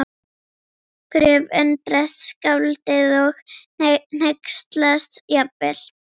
Gröf- undrast skáldið og hneykslast jafnvel